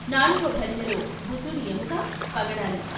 నాలుగో భరిణెలో బుద్ధుడి ఎముక, పగడాలు.